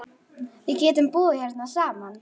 Látum svona vera.